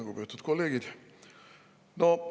Lugupeetud kolleegid!